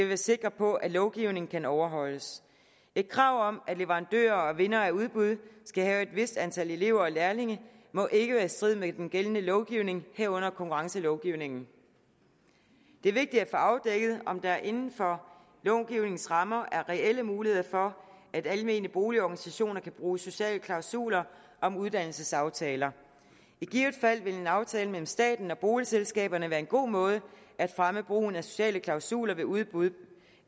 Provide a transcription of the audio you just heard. være sikker på at lovgivningen kan overholdes et krav om at leverandører og vindere af udbud skal have et vist antal elever og lærlinge må ikke være i strid med den gældende lovgivning herunder konkurrencelovgivningen det er vigtigt at få afdækket om der inden for lovgivningens rammer er reelle muligheder for at almene boligorganisationer kan bruge sociale klausuler om uddannelsesaftaler i givet fald vil en aftale mellem staten og boligselskaberne være en god måde at fremme brugen af sociale klausuler ved udbud